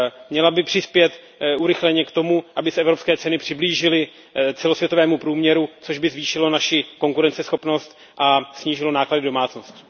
Měla by přispět urychleně k tomu, aby se evropské ceny přiblížily celosvětovému průměru, což by zvýšilo naši konkurenceschopnost a snížilo náklady domácností.